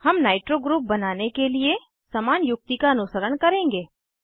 हम nitro group बनाने के लिए समान युक्ति का अनुसरण करेंगे